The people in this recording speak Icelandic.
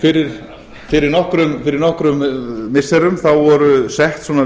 fyrir nokkrum missirum voru sett svona